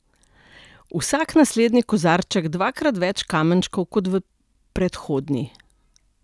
V vsak naslednji kozarček dvakrat več kamenčkov kot v predhodni.